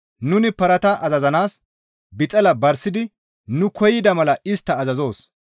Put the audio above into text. Nuni parata azazanaas bixala barsidi nu koyida mala istta azazoos.